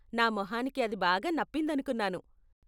నా మొహానికి అది బాగా నప్పిందనుకున్నాను.